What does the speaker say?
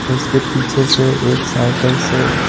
उसके पीछे से एक साइकिल से--